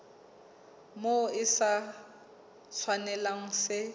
moo se sa tshwanelang se